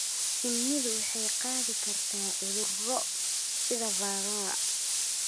Shinnidu waxay qaadi kartaa cudurro sida Varroa.